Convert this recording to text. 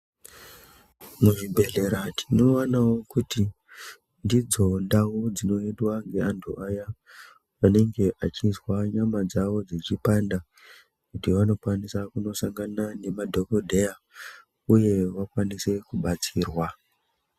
Muzvibhedhlera tinoonawo kuti ndidzo ndau dzinoendwa ngevantu vaya vanengame vechizwa nyama dzawo dzichipanda kuti vanokwanisa kundosangana nemadhokodheya uye vakwanise kubatsirwa.